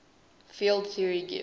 field theory gives